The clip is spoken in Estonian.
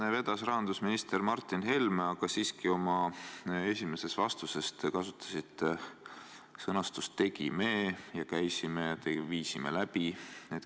Seda vedas rahandusminister Martin Helme, aga oma esimeses vastuses te siiski kasutasite sõnu "tegime", "käisime", "viisime läbi".